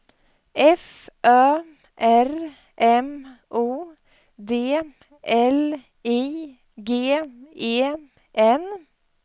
F Ö R M O D L I G E N